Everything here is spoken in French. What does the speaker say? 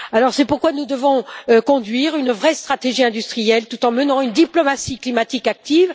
C'est pourquoi nous devons conduire une vraie stratégie industrielle, tout en menant une diplomatie climatique active.